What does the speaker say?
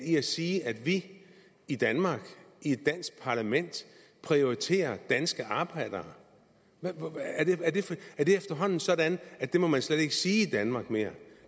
i at sige at vi i danmark i et dansk parlament prioriterer danske arbejdere er det efterhånden sådan at det må man slet ikke sige i danmark mere